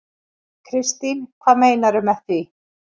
Kristín: Hvað meinarðu með því?